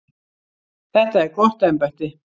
Þetta er gott embætti.